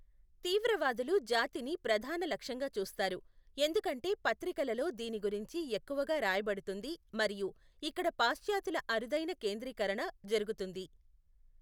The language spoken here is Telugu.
తీవ్రవాదులు జాతిని ప్రధాన లక్ష్యంగా చూస్తారు, ఎందుకంటే పత్రికలలో దీని గురించి ఎక్కువగా రాయబడుతుంది మరియు ఇక్కడ పాశ్చాత్యుల అరుదైన కేంద్రీకరణ జరుగుతుంది.